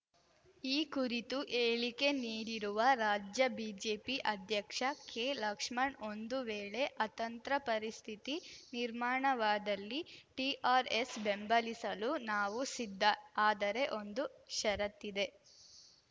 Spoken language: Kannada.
ಈ ಕುರಿತು ಹೇಳಿಕೆ ನೀಡಿರುವ ರಾಜ್ಯ ಬಿಜೆಪಿ ಅಧ್ಯಕ್ಷ ಕೆಲಕ್ಷ್ಮಣ್‌ ಒಂದು ವೇಳೆ ಅತಂತ್ರ ಪರಿಸ್ಥಿತಿ ನಿರ್ಮಾಣವಾದಲ್ಲಿ ಟಿಆರ್‌ಎಸ್‌ ಬೆಂಬಲಿಸಲು ನಾವು ಸಿದ್ಧ ಆದರೆ ಒಂದು ಷರತ್ತಿದೆ